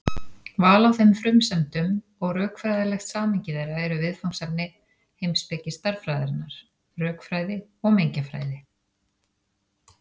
Val á þeim frumsendum og rökfræðilegt samhengi þeirra eru viðfangsefni heimspeki stærðfræðinnar, rökfræði og mengjafræði.